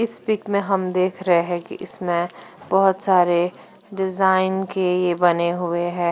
इस पिक में हम देख रहे हैं कि इसमें बहोत सारे डिजाइन के ये बने हुए हैं।